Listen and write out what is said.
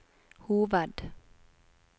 hoved